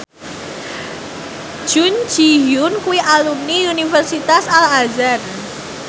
Jun Ji Hyun kuwi alumni Universitas Al Azhar